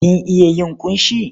Kin iya yin ƙunshi?